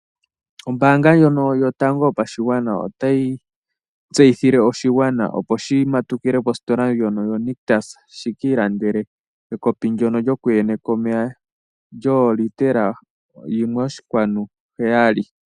Ombaanga ndjono yotango yopashigwana otayi tseyithile oshigwana, opo shi matukile kositola ndjono yoNictus shi ka ilandele ekopi ndyono lyokunyeka omeya lyoolitela yimwe oshinkwanu heyali.